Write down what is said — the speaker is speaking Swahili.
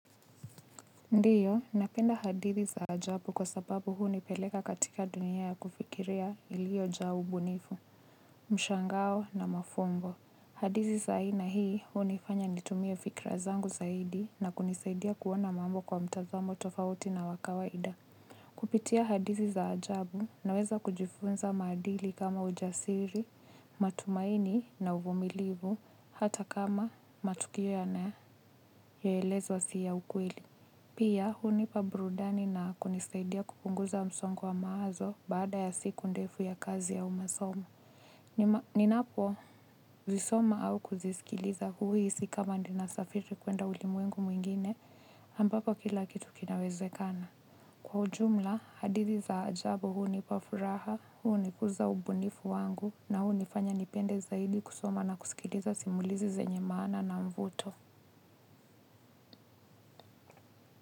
Ndio, napenda hadithi za ajabu kwa sababu hunipeleka katika dunia ya kufikiria ilio jaa ubunifu. Mshangao na mafumbo. Hadithi za aina hii hunifanya nitumie fikra zangu zaidi na kunisaidia kuona mambo kwa mtazamo tofauti na wa kawaida. Kupitia hadithi za ajabu naweza kujifunza maadili kama ujasiri, matumaini na uvumilivu, hata kama matukio yanayoelezwa si ya ukweli. Pia hunipa burudani na kunisaidia kupunguza msongo wa maazo baada ya siku ndefu ya kazi au masomo. Ninapozisoma au kuzisikiliza huhisi kama nina safiri kuenda ulimwengu mwingine ambapo kila kitu kinawezekana. Kwa ujumla, hadithi za ajabu hunipa furaha, hunikuza ubunifu wangu na hunifanya nipende zaidi kusoma na kusikiliza simulizi zenye maana na mvuto.